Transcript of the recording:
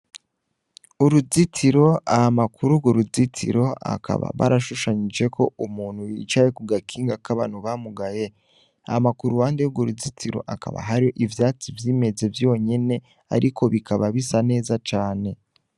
Uruzitiro ,hama kur'urwo ruzitiro akaba barashushanijeko umuntu yicaye ku gakinga k'abantu ba mugaye ,hama k'uruhande yurwo ruzitiro hakaba hari ivyatsi vyimeze vyonyene ,ariko bikaba bisa neza cane.